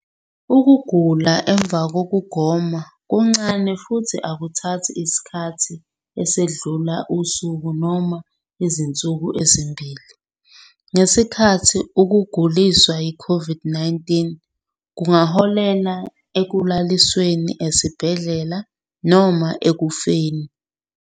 Ukugula emuva kokugoma kuncane futhi akuthathi isikhathi esedlula usuku noma izinsuku ezimbili, ngesikhathi ukuguliswa yiCOVID-19 kungaholela ekulalisweni esibhedlela noma ekufeni.